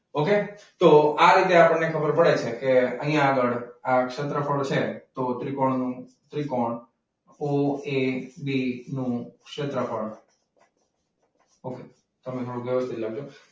okay? તો આ રીતે આપણે ખબર પડે છે કે અહીંયા આગળ આ ક્ષેત્રફળ છે. તો ત્રિકોણનું, ત્રિકોણ ઓ એ બી નું ક્ષેત્રફળ.